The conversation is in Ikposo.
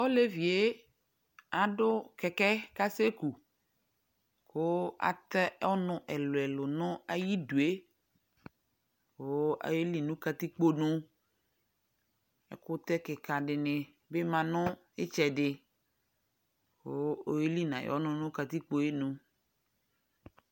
ɔlɛviɛ adʋ kɛkɛ kʋ asɛ kʋ kʋ atɛ ɔnʋ ɛlʋɛlʋ nʋ ayidʋɛ kʋ ɔyɛli nʋ katikpɔ nʋ, ɛkʋtɛ kika dini bi manʋ itsɛdi kʋ ɔyɛli ayi ɔnʋnʋ katikpɔɛ nʋ